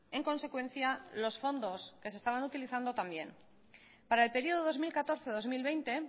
en consecuencia los fondos que se estaban utilizando también para el periodo dos mil catorce dos mil veinte